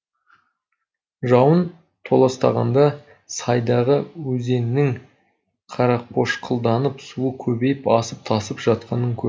жауын толастағанда сайдағы өзеннің қарақошқылданып суы көбейіп асып тасып жатқанын көрдік